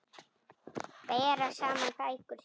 Bera saman bækur sínar.